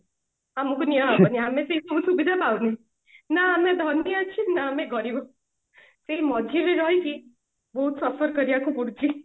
ଆମକୁ ନିଆହବନି ଆମେ ସେଇ କୋଉ ସୁବିଧା ପାଉନେ ନା ଆମେ ଧନୀ ଅଛେ ନା ଆମେ ଗରିବ ସେଇ ମଝିରେ ରହିକି ବହୁତ suffer କରିବାକୁ ପଡୁଛି